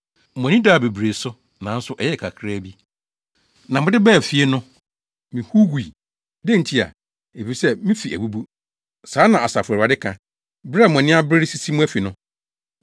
“Mo ani daa bebree so, nanso ɛyɛɛ kakraa bi. Na mode baa fie no, mihuw gui. Dɛn ntia?” Efisɛ, “me fi abubu.” Saa na Asafo Awurade ka, “bere a mo ani abere resisi mo afi no.